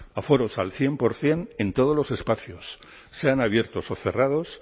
aforos al cien por ciento en todos los espacios sean abiertos o cerrados